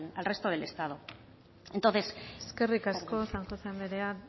al resto del estado eskerrik asko san josé anderea